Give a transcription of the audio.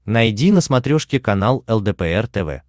найди на смотрешке канал лдпр тв